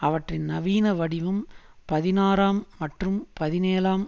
அவற்றின் நவீன வடிவம் பதினாறாம் மற்றும் பதினேழுஆம்